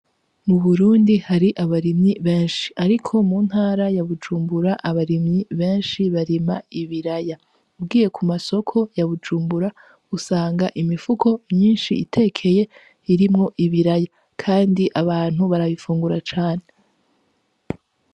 Mu Burundi hari abarimyi benshi ariko mu ntara ya Bujumbura abarimyi benshi barima ibiraya. Ugiye ku masoko ya Bujumbura usanga imifuko myinshi itekeye irimwo ibiraya kandi abantu barabifungura cane.